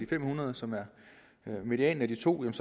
fem hundrede som er medianen af de to er